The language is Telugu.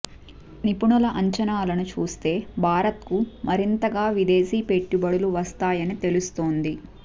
నిపుణుల అంచనాలను చూస్తే భారత్కు మరింతగా విదేశీ పెట్టుబడులు వస్తాయని తెలుస్తోంది